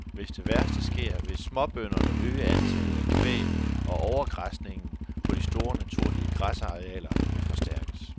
Hvis det værste sker, vil småbønderne øge antallet af kvæg, og overgræsningen på de store naturlige græsarealer vil forstærkes.